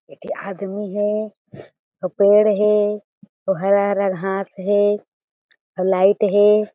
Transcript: एक ठी आदमी हें अउ पेड़ हें अउ हरा-हरा घास हें अउ लाइट हें।